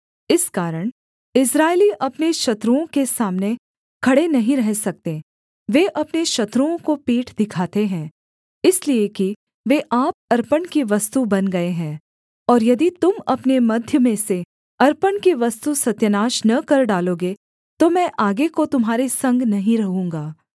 इस कारण इस्राएली अपने शत्रुओं के सामने खड़े नहीं रह सकते वे अपने शत्रुओं को पीठ दिखाते हैं इसलिए कि वे आप अर्पण की वस्तु बन गए हैं और यदि तुम अपने मध्य में से अर्पण की वस्तु सत्यानाश न कर डालोगे तो मैं आगे को तुम्हारे संग नहीं रहूँगा